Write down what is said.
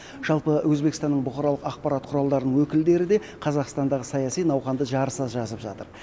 жалпы өзбекстанның бұқаралық ақпарат құралдарының өкілдері де қазақстандағы саяси науқанды жарыса жазып жатыр